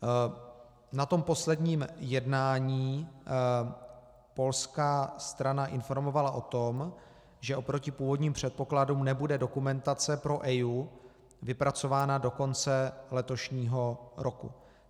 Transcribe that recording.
Na tom posledním jednání polská strana informovala o tom, že oproti původním předpokladům nebude dokumentace pro EIA vypracována do konce letošního roku.